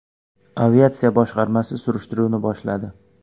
Aviatsiya boshqarmasi surishtiruvni boshladi.